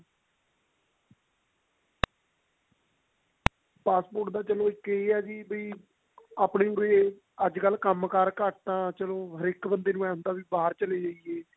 passport ਦਾ ਚਲੋ ਇੱਕ ਇਹ ਹੈ ਵੀ ਆਪਣੇ ਕੋਲੇ ਅੱਜ ਕਲ ਕੰਮ ਕਰ ਘੱਟ ਆ ਹਰ ਇੱਕ ਬੰਦੇ ਇਹ ਹੁੰਦਾ ਕੀ ਬਾਹਰ ਚਲੇ ਜਾਈਏ